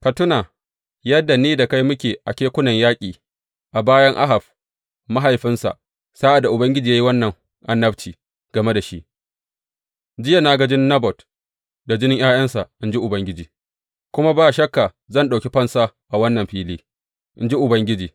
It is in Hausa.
Ka tuna yadda ni da kai muke a kekunan yaƙi a bayan Ahab mahaifinsa sa’ad da Ubangiji ya yi wannan annabci game da shi, Jiya na ga jinin Nabot da jinin ’ya’yansa, in ji Ubangiji, kuma ba shakka zan ɗauki fansa a wannan fili, in ji Ubangiji.’